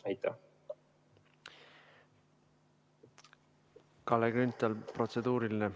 Kalle Grünthal, protseduuriline küsimus.